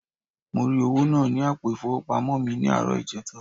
Mo ri owo naa ni apo ifowopamo mi ni aaro ijeta.